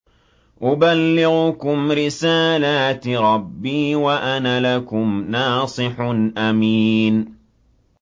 أُبَلِّغُكُمْ رِسَالَاتِ رَبِّي وَأَنَا لَكُمْ نَاصِحٌ أَمِينٌ